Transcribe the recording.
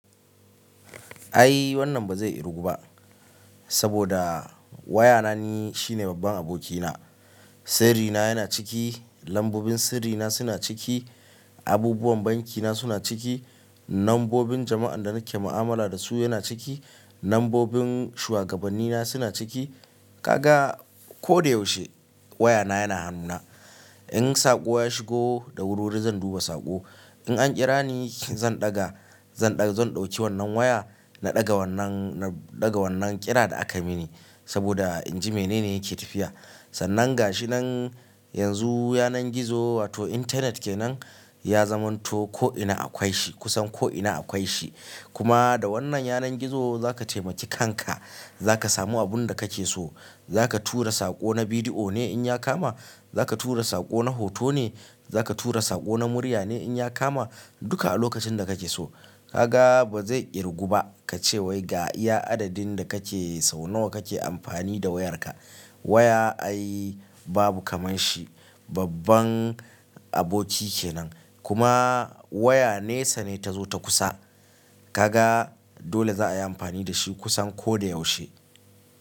Ai wannan ba zai irgu ba, saboda wayana ni shine babban abokina. Sirrina yana ciki, lambobin sirrina suna ciki, abubuwan bankina suna ciki, nambobin jama'an da nake mu'amala da su yana ciki, nambobin shuwagabannina suna ciki. Kaga ko da yaushe wayana yana hannuna. In saƙo ya shigo, da wuri wuri zan duba saƙo. In an ƙira ni, zan ɗaga, zan ɗauki wannan waya na ɗaga wannan, na ɗaga wannan ƙira da akayi mini saboda in ji mene ne yake tafiya. Sannan ga shi nan yanzu yanar gizo wato Internet kenan ya zamanto ko'ina akwai shi, kusan ko'ina akwai shi. Kuma da wannan yanar gizo za ka taimaki kanka, za ka samu abun da kake so. Za ka tura saƙo na bidiyo ne in ya kama, za ka tura saƙo na hoto ne, za ka tura saƙo na murya ne in ya kama, duka a lokacin da kake so. Kaga ba zai irgu ba ka ce wai ga iya adadin da kake sau nawa kake amfani da wayarka. Waya ai babu kaman shi, babban aboki kenan. Kuma waya nesa ne ta zo ta kusa. Kaga dole za a yi amfani da shi kusan ko da yaushe.